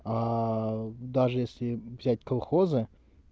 даже если взять колхоза